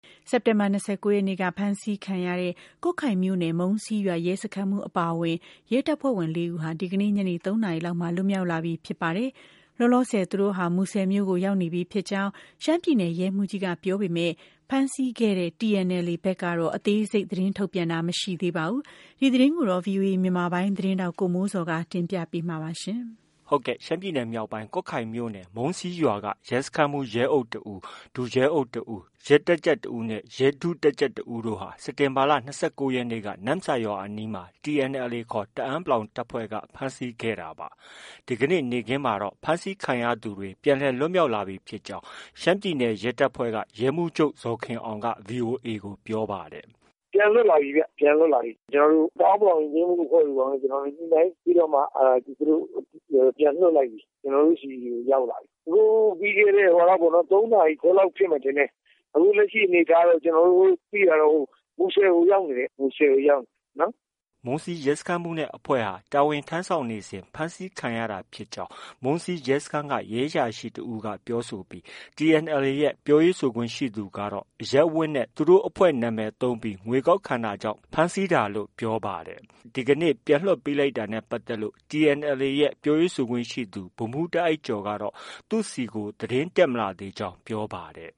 စက်တင်ဘာ ၂၉ ရက်နေ့က ဖမ်းဆီးခံတဲ့ ကွတ်ခိုင်မြို့နယ် မုံးစီးရွာ ရဲစခန်းမှူးအပါအဝင် ရဲတပ်ဖွဲ့ဝင် ၄ ဦးဟာ ဒီကနေ့ ညနေ ၃နာရီလောက်မှာ လွတ်မြောက်လာပြီ ဖြစ်ပါတယ်။ လောလောဆယ်သူတို့ဟာ မူဆယ်မြို့ကို ရောက်ရှိနေပြီဖြစ်ကြောင်း ရှမ်းပြည်နယ် ရဲမှူးကြီးက ပြောဆိုပေမဲ့ ဖမ်းဆီးခဲ့တဲ့ TNLA ဘက်ကတော့ အသေးစိတ် သတင်းထုတ်ပြန်တာ မရှိပါဘူး။ ဒီသတင်းကိုတော့ ဗွီအိုအေမြန်မာပိုင်းရဲ့သတင်းထောက် ကိုမိုးဇော်က တင်ပြမှာ ဖြစ်ပါတယ်။ ရှမ်းပြည်နယ်မြောက်ပိုင်း ကွတ်ခိုင်မြိုနယ် မုံးစီးရွာက ရဲစခန်းမှူး ရဲအုပ် တဦး၊ ဒုရဲအုပ် တဦး။ ရဲတပ်ကြပ် တစ်ဦးနဲ့ ရဲ ဒုတပ်ကြပ်တစ်ဦးတို့ဟာ စက်တင်ဘာလ ၂၉ ရက်နေ့က နမ့်ဆာရွာအနီးမှာ TNLA ခေါ် တအန်း တပ်ဖွဲ့က ဖမ်းဆီးခဲ့တာပါ။ ဒီကနေ့နေ့ခင်းမှာတော့ ဖမ်းဆီးခံရသူတွေ အားလုံး ပြန်လည် လွတ်မြောက်လာပြီဖြစ်ကြောင်း ရှမ်းပြည်နယ် ရဲတပ်ဖွဲ့က ရဲမှူးချုပ် ဇော်ခင်အောင်က VOA ကို ပြောပါတယ်။ “ပြန်လွတ်လာပြီဗျ။ ပြန်လွတ်လာပြီ။ ကျနော်တို့ တအန်း ယဉ်ကျေးမှုအဖွဲ့တို့ ဘာတို့နဲ့ ညှိနှိုင်းပြီးတော့မှ သူတို့ ပြန်လွှတ်လိုက်ပြီ။ ကျနော်တို့ ဆီကို ရောက်လာပြီ။ ပြီးခဲ့တဲ့ ၃ နာရီ ခွဲလောက်ဖြစ်မယ် ထင်တယ်။ အခုလက်ရှိအနေအထားတော့ ကျနော်တို့ သိတာတော့ မူဆယ်ကို ရောက်နေတယ်။ မူဆယ်ကို ရောက်နေတယ်နော်။” မုံးစီး ရဲစခန်းမှူးနဲ့ အဖွဲ့ဟာ တာဝန်ထမ်းဆောင်နေစဉ် ဖမ်းဆီးခံရတာဖြစ်ကြောင်း မုံးစီးရဲစခန်းက ရဲအရာရှိတစ်ဦးက ပြောဆိုပြီး TNLA ရဲ့ ပြောခွင့်ရသူကတော့ အရပ်ဝတ်နဲ့ သူတို့ အဖွဲ့နာမည်သုံးပြီး ငွေကောက်ခံတာကြောင်း ဖမ်းဆီးတာလို့ ပြောပါတယ်။ ဒီနေ့ ပြန်လွှတ်လိုက်တာနဲ့ ပတ်သက်လို့ TNLA ရဲ့ ပြောခွင့်ရသူ ဗိုလ်မှူး တားအိုက်ကျော်ကတော့ သူ့ဆီကို သတင်းမတက်လာသေးကြောင်း ပြောပါတယ်